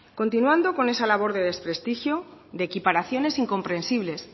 continuando con esa labor de desprestigio de equiparaciones incomprensibles